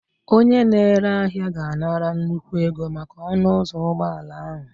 Onye na-ere ahịa ga-anara nnukwu ego maka ọnụ ụzọ ụgbọala ahụ